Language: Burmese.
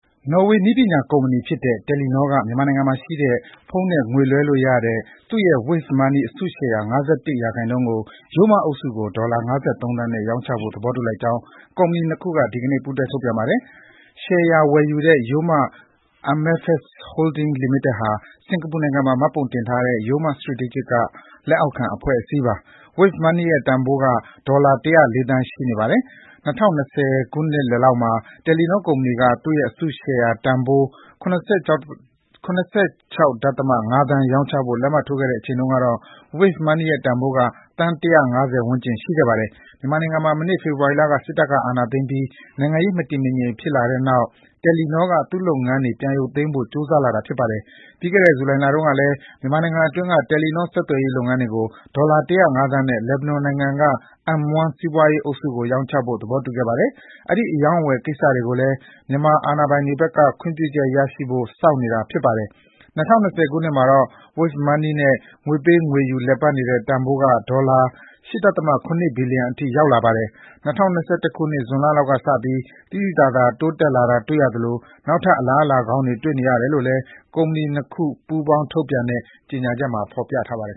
နော်ဝေနည်းပညာကုမ္ပဏီကြီးဖြစ်တဲ့ တယ်လီနောက မြန်မာနိုင်ငံမှာရှိတဲ့ ဖုန်းနဲ့ငွေလွှဲလို့ရတဲ့ သူ့ရဲ့Wave Money အစုရှယ်ယာ ၅၁ %ကို Yoma အုပ်စု ကို ဒေါ်လာ ၅၃ သန်းနဲ့ ရောင်းချဖို့ သဘောတူလိုက်ကြောင်း ကုမ္ပဏီနှစ်ခုက ဒီကနေ့ပူးတွဲထုတ်ပြန်ပါတယ်။ ရှယ်ယာဝယ်ယူတဲ့ Yoma MFS Holding Ltd ဟာ စင်္ကာပူနိုင်ငံမှာမှတ်ပုံတင်ထားတဲ့ Yoma Strategic က လက်အောက်ခံအဖွဲ့အစည်းပါ။ Wave Money ရဲ့ တန်ဖိုးက ဒေါ်လာ ၁၀၄ သန်း ရှိနေပါတယ်။ ၂၀၂၀ နှစ်လယ်လောက်မှာ တယ်လီနောကုမ္ပဏီက သူ့ရဲ့အစုရှယ်ယာတန်ဖိုး ၇၆.၅ သန်း ရောင်းချဖို့ လက်မှတ်ထိုးခဲ့တဲ့အချိန်တုန်းကတော့ Wave Money ရဲ့တန်ဖိုးက သန်း ၁၅၀ ဝန်းကျင်ရှိခဲ့တာပါ။ မြန်မာနိုင်ငံမှာ မနှစ်ဖေဖော်ဝါရီလက စစ်အာဏာသိမ်းပြီး နိုင်ငံရေး မတည်မငြိမ်ဖြစ်လာပြီးတဲ့နောက် တယ်လီနောက သူ့လုပ်ငန်းတွေ ပြန်ပြီးရုပ်သိမ်းဖို့ ကြိုးစားလာတာဖြစ်ပါတယ်။ ပြီးခဲ့တဲ့ ဂျူလိုင်လတုန်းကလည်း မြန်မာနိုင်ငံတွင်းက တယ်လီနော ဆက်သွယ်ရေးလုပ်ငန်းတွေကို ဒေါ်လာ ၁၀၅ သန်းနဲ့ လက်ဘနွန်နိုင်ငံက M1 စီးပွါးရေးအုပ်စုကို ရောင်းချဖို့ သဘောတူခဲ့ပါတယ်။ အဲဒီအရောင်းအဝယ် ကိစ္စတွေကိုလည်း မြန်မာအာဏာပိုင်တွေဖက်က ခွင့်ပြုချက်ရရဖို့ စောင့်နေရတာပါ။ ၂၀၂၀ ခုနှစ်မှာတော့ Wave Money နဲ့ ငွေပေးငွေယူလည်ပတ်နေတဲ့တန်ဖိုးက ဒေါ်လာ ၈.၇ ဘီလီယံထိရောက်လာပါတယ်။ ၂၀၂၁ ခုနှစ် ဂျွန်လလောက်ကစပြီး သိသိသာသာတိုးတက်လာတာတွေ့ရသလို နောက်ထပ်အလားအလာကောင်းတွေ တွေ့နေရတယ်လို့လည်း ကုမ္ပဏီနှစ်ခုပူးပေါင်းထုတ်ပြန်တဲ့ ကြေငြာချက်မှာ ဖော်ပြထားပါတယ်